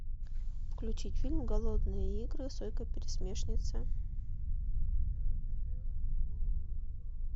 включить фильм голодные игры сойка пересмешница